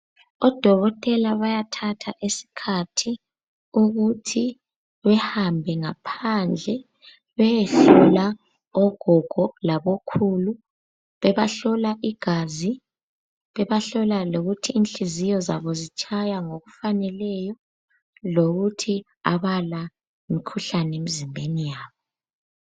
Odokotela bayathatha isikhathi ukuthi behambe ngaphandle beyehlola ogogo labo khulu bebahlola igazi bebahlola lokuthi inhliziyo zabo zitshaya ngokufaneleyo lokuthi abala mkhuhlane emzimbeni yabo.